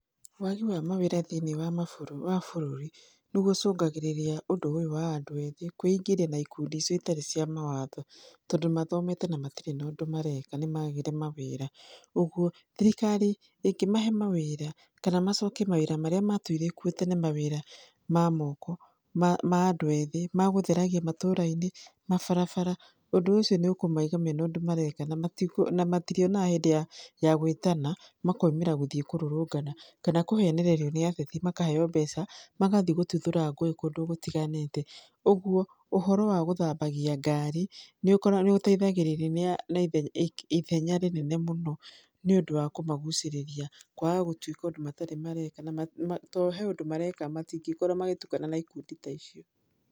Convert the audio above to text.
Wagi wa mawĩra thĩiniĩ wa mabũrũri, wa bũrũri nĩguo ũcũngagĩríĩia ũndũ ũyũ wa andũ ethĩ kũĩingĩria na ikundi citarĩ cia mawatho, tondũ mathomete na matirĩ ũndũ mareka nĩ magire mawĩra. Ũguo thirikari ĩngĩmahe mawĩra, kana macokie mawĩra marĩa matũire kuo tene mawĩra ma moko ma andũ ethĩ ma gĩtheragia matũra-inĩ mabarabara ũndũ ũcio nĩ ũkũmaiga mena ũndũ mareka, na matirĩonaga hĩndĩ ya gũĩtana makaumĩra gũthiĩ kũrũrũngana kana kũhenerereio nĩ ateti makaheo mbeca, magathiĩ gũtuthũra ngũĩ kũndũ gũtiganĩte, ũguo ũhoro wa gũthambagia ngari, nĩ ũteithagĩrĩria na ithenya rĩnene mũno. Nĩ ũndũ wa kũmagucĩrĩria kwaga gũtuĩka ũndũ matarĩ mareka na tondũ he ũndũ mareka matingĩkora magĩtukana na ikundi ta icio.